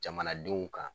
Jamanadenw kan